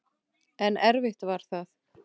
En erfitt var það.